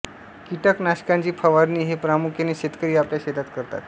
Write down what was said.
कीटक नाशकांची फवारणी हे प्रामुख्याने शेतकरी आपल्या शेतात करतात